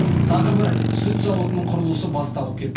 тағы бір сүт зауытының құрылысы басталып кетті